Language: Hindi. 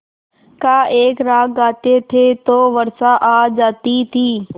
का एक राग गाते थे तो वर्षा आ जाती थी